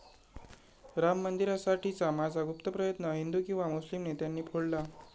'राम मंदिरासाठीचा माझा गुप्त प्रयत्न हिंदू किंवा मुस्लिम नेत्यांनी फोडला'